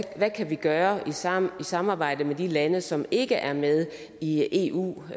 vi kan gøre i samarbejde samarbejde med de lande som ikke er med i eu